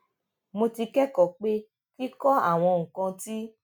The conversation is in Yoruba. mo ti kékòó pé kíkọ àwọn nǹkan tí